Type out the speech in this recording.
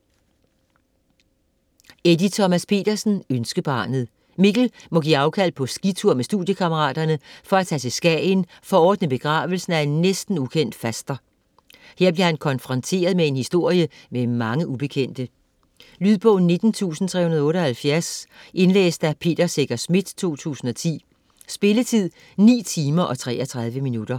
Petersen, Eddie Thomas: Ønskebarnet Mikkel må give afkald på skitur med studiekammeraterne for at tage til Skagen for at ordne begravelsen af en næsten ukendt faster. Her bliver han konfronteret med en historie med mange ubekendte. Lydbog 19378 Indlæst af Peter Secher Schmidt, 2010. Spilletid: 9 timer, 33 minutter.